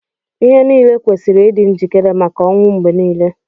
Ihe niile kwesiri ịdị njikere maka ọnwụ mgbe niile.